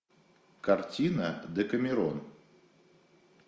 картина декамерон